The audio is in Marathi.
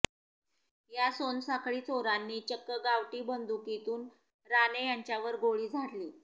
या सोनसाखळीचोरांनी चक्क गावठी बंदुकीतून राणे यांच्यावर गोळी झाडली